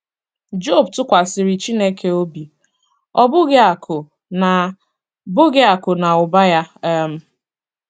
Job tụkwasịrị Chineke obi, ọ bụghị akụ̀ na bụghị akụ̀ na ụba ya um